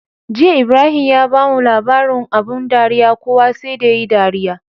Jiya Ibrahim ya bamu labarin abun dariya kowa sai da yayi dariya